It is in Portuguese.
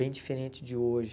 Bem diferente de hoje.